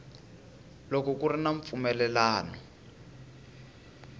loko ku ri na mpfumelelano